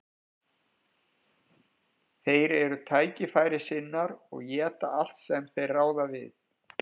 Þeir eru tækifærissinnar og éta allt sem þeir ráða við.